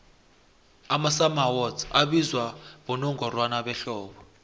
amasummer awards abizwa bonongorwana behlobo